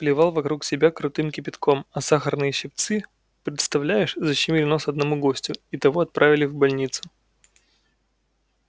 плевал вокруг себя крутым кипятком а сахарные щипцы представляешь защемили нос одному гостю и того отправили в больницу